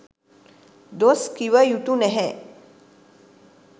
දොස් කිව යුතු නැහැ.